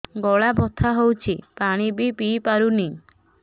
ଗଳା ବଥା ହଉଚି ପାଣି ବି ପିଇ ପାରୁନି